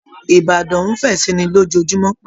Ìbàdàn nń fẹ̀ si i ni lójòòjúmọ́